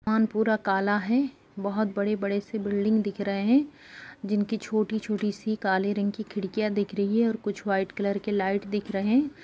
मोहाल पुरा काला है बहुत बड़े-बड़े से बिल्डिंग दिख रहे हैं जिनकी छोटी-छोटी सी काले रंग की खिड़कियाँ दिख रही है और कुछ वाइट कलर के लाइट दिख रहे है।